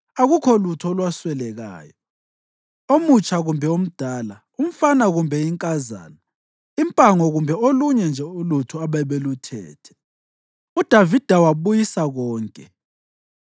Akukho lutho olwaswelakalayo: omutsha kumbe omdala, umfana kumbe inkazana, impango kumbe olunye nje ulutho ababeluthethe. UDavida wabuyisa konke.